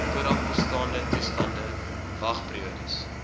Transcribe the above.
voorafbestaande toestande wagperiodes